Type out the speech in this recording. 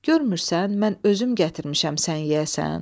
Görmürsən mən özüm gətirmişəm sən yeyəsən?